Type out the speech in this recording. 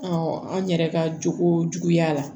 an yɛrɛ ka jogo juguyara